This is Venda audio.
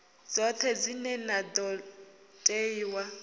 dzoṱhe dzine na ḓo ṋeiwa